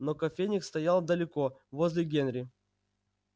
но кофейник стоял далеко возле генри